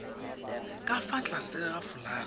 ka fa tlase ga folaga